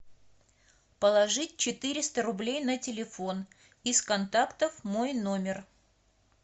положить четыреста рублей на телефон из контактов мой номер